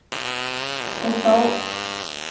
Þá var og litið á villtu unglingana í svörtu